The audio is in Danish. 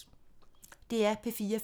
DR P4 Fælles